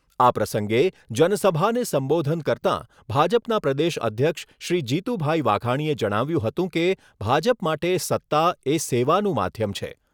આ પ્રસંગે જનસભાને સંબોધન કરતાં ભાજપના પ્રદેશ અધ્યક્ષ શ્રી જીતુભાઈ વાઘાણીએ જણાવ્યુંં હતું કે, ભાજપ માટે સત્તા એ સેવાનું માધ્યમ છે.